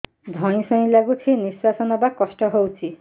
ଧଇଁ ସଇଁ ଲାଗୁଛି ନିଃଶ୍ୱାସ ନବା କଷ୍ଟ ହଉଚି